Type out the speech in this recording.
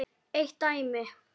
Eitt dæmi.